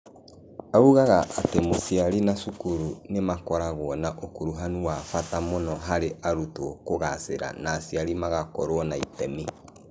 Augaga atĩ mũciari na cukuru nĩ makoragwo na ũkuruhanu wa bata mũno harĩ arutwo kũgaacĩra na aciari magakorũo na itemi.